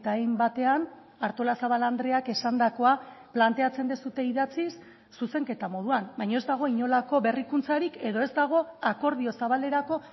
hainbatean artolazabal andreak esandakoa planteatzen duzue idatziz zuzenketa moduan baina ez dago inolako berrikuntzarik edo ez dago akordio zabalerako